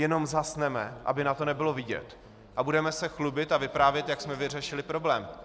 Jenom zhasneme, aby na to nebylo vidět, a budeme se chlubit a vyprávět, jak jsme vyřešili problém.